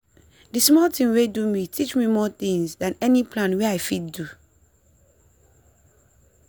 the small tin wey do me teach me more tinz than any plan wey i fit do.